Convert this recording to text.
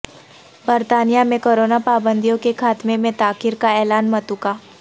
برطانیہ میں کرونا پابندیوں کے خاتمے میں تاخیر کا اعلان متوقع